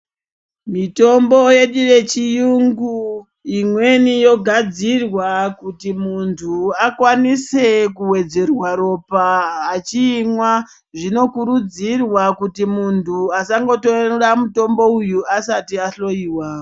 Mitombo yedu yechiyungu , imweni yogadzirwa kuti muntu akwanise kuwedzerwa ropa achiimwa. Zvinokurudzirwa kuti muntu asangotora mutombo uyu asati ahloiwa.